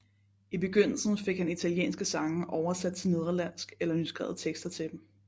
I begyndelsen fik han italienske sange oversætte til nederlandsk eller nyskrevet tekster til dem